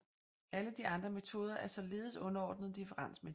Alle de andre metoder er således underordnet differensmetoden